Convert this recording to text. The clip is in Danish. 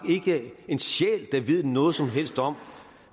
ikke en sjæl der ved noget som helst om